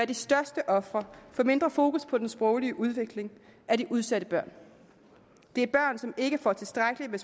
de største ofre for mindre fokus på den sproglige udvikling er de udsatte børn det er børn som ikke får tilstrækkelig